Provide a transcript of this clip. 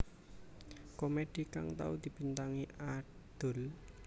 Komedi kang tau dibintangi Adul